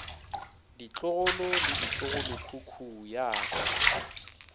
ditlogolo le ditlogolokhukhu ya ka